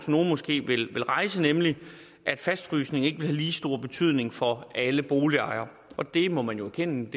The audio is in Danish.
nogle måske vil rejse nemlig at fastfrysningen ikke vil have lige stor betydning for alle boligejere og det må man jo erkende